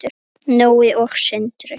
Nói og Sindri.